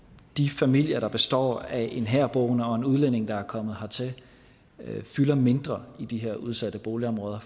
de familier der består af en herboende og en udlænding der er kommet hertil fylder mindre i de her udsatte boligområder